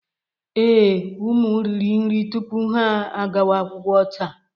Ee, ụmụ riri nri tupu ha agawa akwụkwọ taa